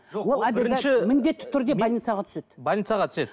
міндетті түрде больницаға түседі больницаға түседі